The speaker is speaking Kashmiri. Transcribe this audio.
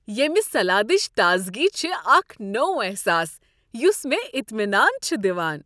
ییمِہ سلادٕچ تازگی چھ اکھ نوٚو احساس یُس مےٚ اطمینان چھ دوان ۔